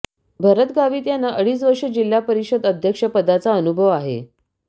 भरत गावीत यांना अडीच वर्ष जिल्हा परिषद अध्यक्ष पदाचा अनुभव आहे